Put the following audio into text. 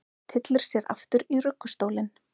Tyllir sér aftur í ruggustólinn.